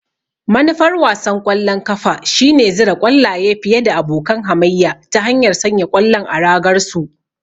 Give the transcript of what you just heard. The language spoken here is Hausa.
Manufar wasan ƙwallon kafa shine zura ƙwallaye fiye da abokan hamayya ta hanyar sanya ƙwallon a ragar su.